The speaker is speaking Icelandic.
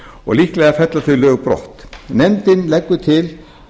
og líklega fella þau lög brott nefndin leggur til